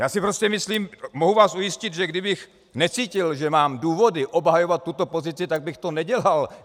Já si prostě myslím, mohu vás ujistit, že kdybych necítil, že mám důvody obhajovat tuto pozici, tak bych to nedělal.